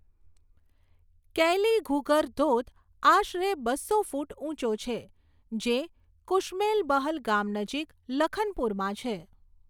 કૈલીઘુગર ધોધ આશરે બસો ફૂટ ઊંચો છે, જે કુશમેલબહલ ગામ નજીક લખનપુરમાં છે.